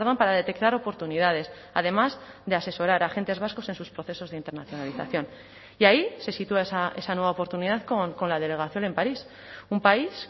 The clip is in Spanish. para detectar oportunidades además de asesorar a agentes vascos en sus procesos de internacionalización y ahí se sitúa esa nueva oportunidad con la delegación en parís un país